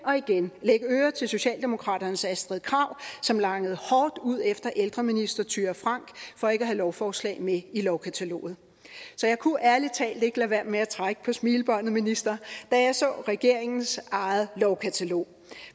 og igen lægge ører til socialdemokraternes astrid krag som langede hårdt ud efter ældreminister thyra frank for ikke at have lovforslag med i lovkataloget så jeg kunne ærlig talt ikke lade være med at trække på smilebåndet minister da jeg så regeringens eget lovkatalog